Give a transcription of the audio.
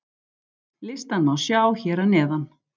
Listann má sjá hér að neðan.